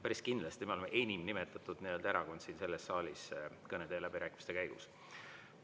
Päris kindlasti me oleme enim nimetatud erakond siin selles saalis kõnede ja läbirääkimiste käigus.